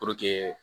Puruke